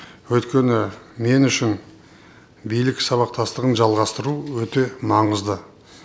өйткені мен үшін билік сабақтастығын жалғастыру өте маңызды